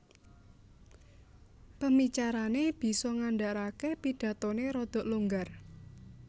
Pemicarané bisa ngandharaké pidathoné rada longgar